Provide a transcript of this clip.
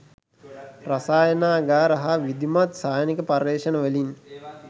රසායනාගාර හා විධිමත් සායනික පර්යේෂණ වලින්